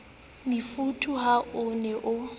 mofuthu ha o ne o